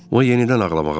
O yenidən ağlamağa başladı.